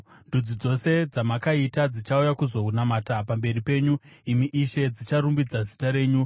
Ndudzi dzose dzamakaita dzichauya kuzonamata pamberi penyu, imi Ishe; dzicharumbidza zita renyu.